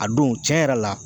A don cɛn yɛrɛ la